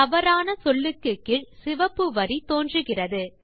தவறான சொல்லுக்கு கீழ் சிவப்பு வரி தோன்றுகிறது